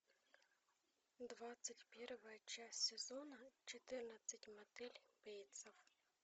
двадцать первая часть сезона четырнадцать мотель бейтсов